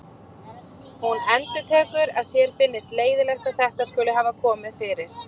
Hún endurtekur að sér finnist leiðinlegt að þetta skuli hafa komið fyrir.